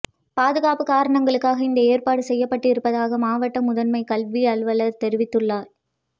பாதுகாப்பு காரணங்களுக்காக இந்த ஏற்பாடு செய்யப்பட்டிருப்பதாக மாவட்ட முதன்மை கல்வி அலுவலர் தெரிவித்துள்ளார்